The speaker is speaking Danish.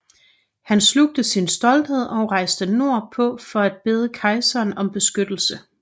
Han slugte sin stolthed og rejste nord på for at bede kejseren om beskyttelse